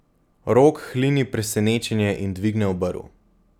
Rok hlini presenečenje in dvigne obrv.